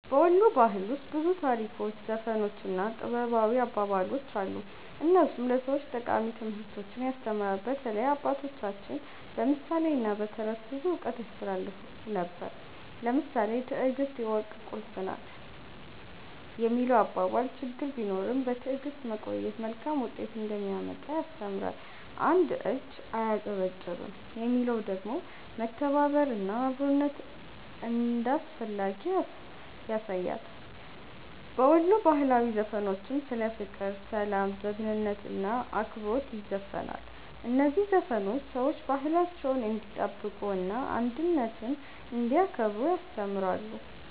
በ ወሎ ባህል ውስጥ ብዙ ታሪኮች፣ ዘፈኖች እና ጥበባዊ አባባሎች አሉ፣ እነሱም ለሰዎች ጠቃሚ ትምህርቶችን ያስተምራሉ። በተለይ አባቶቻችን በምሳሌ እና በተረት ብዙ እውቀት ያስተላልፉ ነበር። ለምሳሌ “ትዕግስት የወርቅ ቁልፍ ናት” የሚለው አባባል ችግር ቢኖርም በትዕግስት መቆየት መልካም ውጤት እንደሚያመጣ ያስተምራል። “አንድ እጅ አያጨበጭብም” የሚለው ደግሞ መተባበር እና አብሮነት እንዳስፈላጊ ያሳያል። በወሎ ባህላዊ ዘፈኖችም ስለ ፍቅር፣ ሰላም፣ ጀግንነት እና አክብሮት ይዘፈናል። እነዚህ ዘፈኖች ሰዎች ባህላቸውን እንዲጠብቁ እና አንድነትን እንዲያከብሩ ያስተምራሉ።